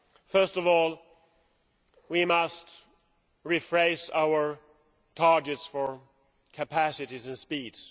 First of all, we must refresh our targets for capacities and speeds.